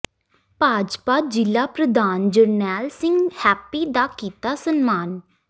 ਭਾਜਪਾ ਜ਼ਿਲ੍ਹਾ ਪ੍ਰਧਾਨ ਜਰਨੈਲ ਸਿੰਘ ਹੈਪੀ ਦਾ ਕੀਤਾ ਸਨਮਾਨ